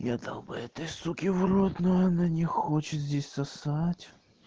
я дал бы этой суке в рот но она не хочет здесь сосать